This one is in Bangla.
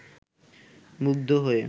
মুগ্ধ হয়ে